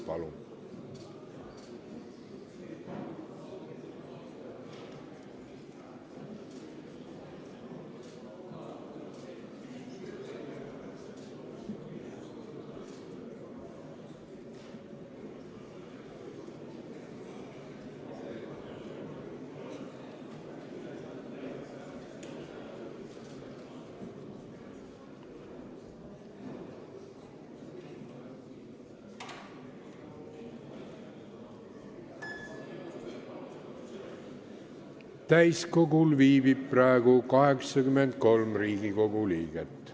Kohaloleku kontroll Täiskogul viibib praegu 83 Riigikogu liiget.